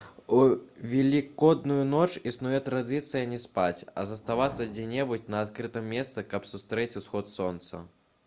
у велікодную ноч існуе традыцыя не спаць а заставацца дзе-небудзь на адкрытым месцы каб сустрэць усход сонца